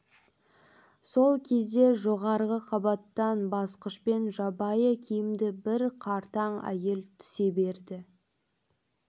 сол кезде жоғарғы қабаттан басқышпен жабайы киімді бір қартаң әйел түсе берді